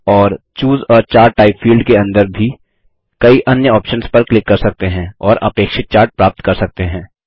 और choose a chart type field के अंदर भी कई अन्य ऑप्शन्स पर क्लिक कर सकते हैं और अपेक्षित चार्ट प्राप्त कर सकते हैं